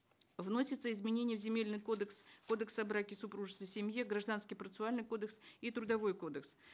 вносится изменение в земельный кодекс кодекс о браке супружестве семье гражданский процессуальный кодекс и трудовой кодекс